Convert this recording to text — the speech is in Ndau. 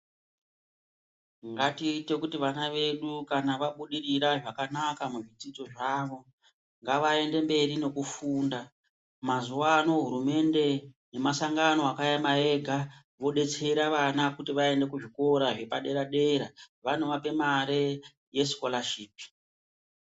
Ngatiite kuti vana vedu kana vabudirira zvakanaka muzvidzidzo zvavo ngavaende mberi nekufunda mazuwa ano hurumende nemasangano akaema ega vodetsera vana kuti vaende kuzvikora zvepader-dera vanovape mare yesikorashipi.